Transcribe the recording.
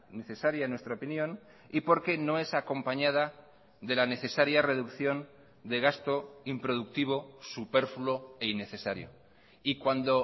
necesaria en nuestra opinión y porque no es acompañada de la necesaria reducción de gasto improductivo superfluo e innecesario y cuando